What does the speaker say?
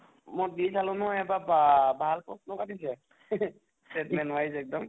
মই দি চালো নহয় এবাৰ বা ভাল প্ৰশ্ন কাটিছে segment wise এক্দম